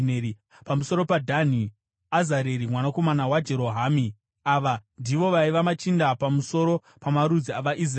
pamusoro paDhani: Azareri mwanakomana waJerohamu. Ava ndivo vaiva machinda pamusoro pamarudzi avaIsraeri.